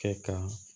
Kɛ ka